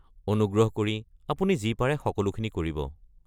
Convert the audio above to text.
অনুগ্ৰহ কৰি আপুনি যি পাৰে সকলোখিনি কৰিব।